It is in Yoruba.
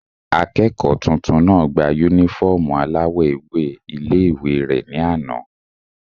Akẹ́kọ̀ọ́ tuntun náà gba yúnífọ́ọ̀mù aláwọ̀ ewé ilé-ìwé rẹ̀ ní àná